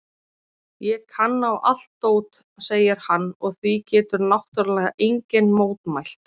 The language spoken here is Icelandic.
Ég kann á allt dót, segir hann og því getur náttúrlega enginn mótmælt.